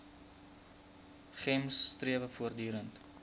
gems strewe voortdurend